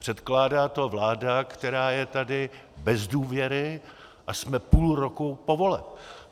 Předkládá to vláda, která je tady bez důvěry, a jsme půl roku po volbách.